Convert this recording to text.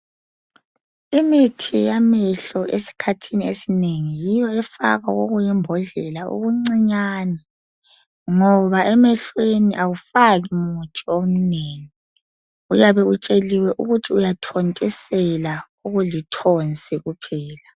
Imithi yamehlo esikhathini esinengi yiyo efakwa kokuyimbodlela okuncinyane ngoba emehlweni awufaki muthi omnengi. Uyabe utsheliwe ukuthi uyathontisela okulithonsi kuphela.